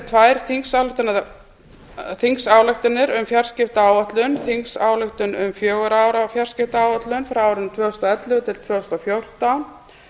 tvær þingsályktanir um fjarskiptaáætlun þingsályktun um fjögurra ára fjarskiptaáætlun fyrir árin tvö þúsund og ellefu til tvö þúsund og fjórtán